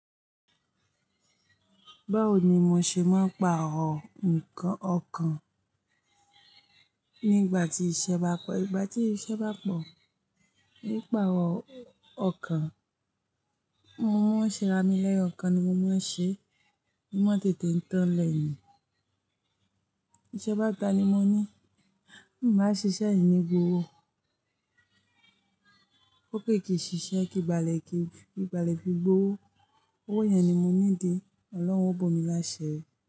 Báwo ni mo ṣe máa ń pààrọ̀ nǹkan ọkàn nígbà tí iṣẹ́ bá pẹ? Ìgbà tí iṣẹ́ bá pọ̀, ní pípààrọ̀ ọkàn, mo máa ń ṣera mi lẹ́yọkàn ni mo máa ń ṣeé, mo máa ń tètè ń tán ńlẹ̀ ni Ìṣẹ́ bá ta ni mo ní, bí ǹ bá ṣiṣẹ́, miì ní gbowó ó pé kí n ṣiṣẹ́, kí n ba lè fi gbowó, owó yẹn ni mo need. Ọlọ́run ó bò mí láṣìírí.